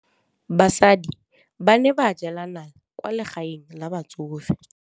Basadi ba ne ba jela nala kwaa legaeng la batsofe.